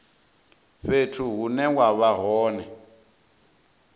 fhethu hune wa vha hone